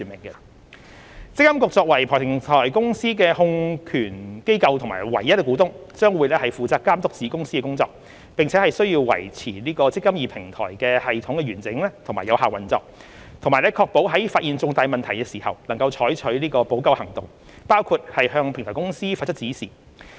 積金局作為平台公司的控權機構和唯一股東，將會負責監督子公司的工作，並須維持"積金易"平台的系統完整和有效運作，以及確保在發現重大問題時採取補救行動，包括向平台公司發出指示。